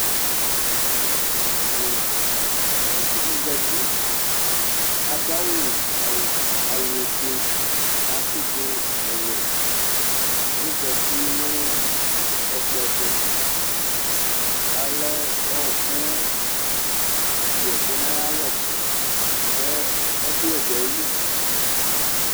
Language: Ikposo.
Ɔsidi zati kʋ adʋ awʋfue kʋ atsidu ɔwɛ kʋ ɔzati nʋ ɛkplɔ ɛtʋ kʋ alɛ ɔkʋ yɛkʋ nʋ ayʋ alʋ kʋ ɛkʋyɛ dʋ ayili